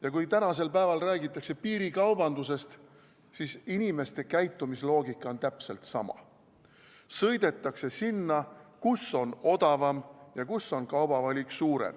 Ja kui tänasel päeval räägitakse piirikaubandusest, siis inimeste käitumisloogika on täpselt sama: sõidetakse sinna, kus on odavam ja kus on suurem kaubavalik.